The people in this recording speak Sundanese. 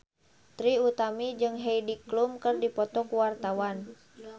Trie Utami jeung Heidi Klum keur dipoto ku wartawan